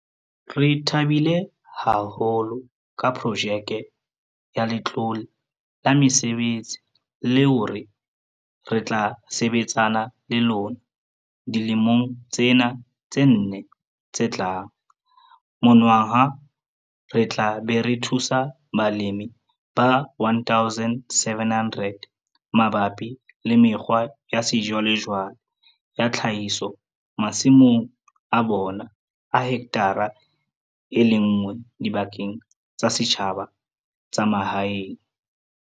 Re thabile haholo ka projeke ya Letlole la Mesebetsi leo re tla sebetsana le lona dilemong tsena tse nne tse tlang monongwaha re tla be re thusa balemi ba 1 700 mabapi le mekgwa ya sejwalejwale ya tlhahiso masimong a bona a hekthara e le nngwe dibakeng tsa setjhaba tsa mahaeng.